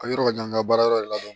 A yɔrɔ ka jan n ka baara yɔrɔ de la